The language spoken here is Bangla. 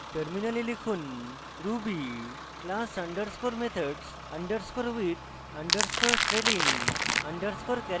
টার্মিনালে লিখুন ruby class underscore methods underscore with underscore trailing underscore characters dot rb